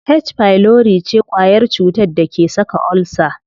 H pylori ce kwayar cutar da ke saka ulcer.